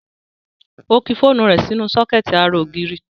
Ó ki fóònù rẹ̀ sínú sọ́kẹ̀tì ara ògiri